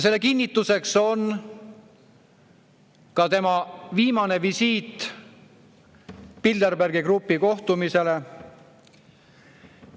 Selle kinnituseks on ka tema viimane visiit Bilderbergi grupi kohtumisele.